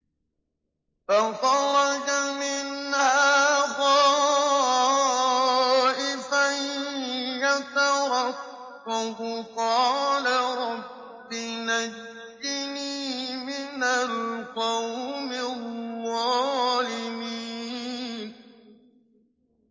فَخَرَجَ مِنْهَا خَائِفًا يَتَرَقَّبُ ۖ قَالَ رَبِّ نَجِّنِي مِنَ الْقَوْمِ الظَّالِمِينَ